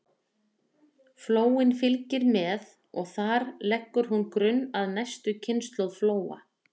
Flóin fylgir með og þar leggur hún grunn að næstu kynslóð flóa.